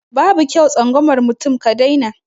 Babu kyau tsangwama mutum ka dai na